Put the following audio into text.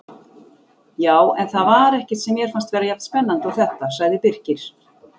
Já, en það var ekkert sem mér fannst vera jafn spennandi og þetta sagði Birkir.